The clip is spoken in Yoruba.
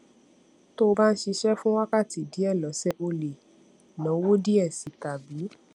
tó o bá ń ṣiṣé fún wákàtí díè lósè o lè náwó díè sí i tàbí